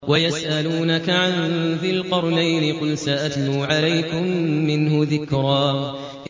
وَيَسْأَلُونَكَ عَن ذِي الْقَرْنَيْنِ ۖ قُلْ سَأَتْلُو عَلَيْكُم مِّنْهُ ذِكْرًا